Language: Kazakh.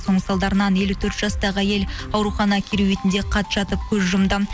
соның салдарынан елу төрт жастағы әйел аурухана кереуетінде қат жатып көз жұмды